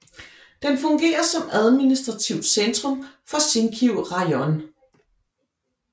Den fungerer som administrativt centrum for Zinkiv rajon